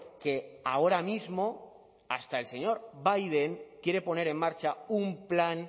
que ahora mismo hasta el señor biden quiere poner en marcha un plan